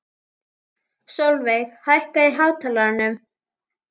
Sólveig, hækkaðu í hátalaranum.